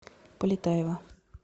полетаева